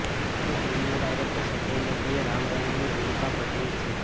અહીં ફિલ્મના ડાયરેક્ટર સંજય નેગીએ રામ રહીમની ભૂમીકા ભજવી છે